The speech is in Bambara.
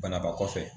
Banabaakɔsɛ